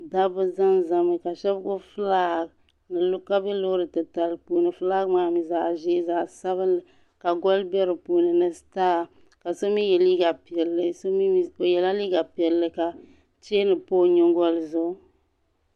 daba zanzami ka she ba gbi fʋlagi ka bɛ lori tili pʋʋni fuligi zaɣ'ʒɛ zaɣ' sabilinli ka goli bɛ di pʋʋni ka so mi ya liga piɛlli ka chini pa o nyingoli zʋɣ'gʋ